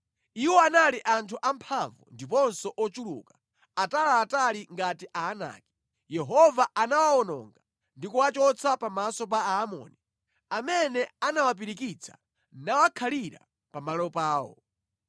Iwo anali anthu amphamvu ndiponso ochuluka, ataliatali ngati Aanaki. Yehova anawawononga ndi kuwachotsa pamaso pa Aamoni, amene anawapirikitsa nawakhalira pa malo pawo.